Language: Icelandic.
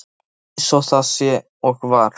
Það er eins og það er og var.